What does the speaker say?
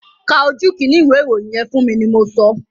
Ka ojú kínní ìwé ìròyìn yẹn fún mi ni mo sọ!